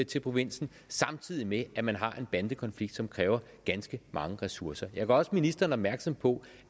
til provinsen samtidig med at man har en bandekonflikt som kræver ganske mange ressourcer jeg gør også ministeren opmærksom på